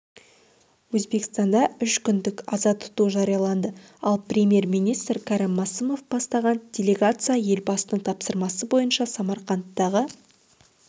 өзбекстанда үш күндік аза тұту жарияланды ал премьер-министр кәрім мәсімов бастаған делегация елбасының тапсырмасы бойынша самарқандтағы